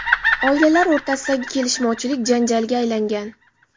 Oilalar o‘rtasidagi kelishmovchilik janjalga aylangan.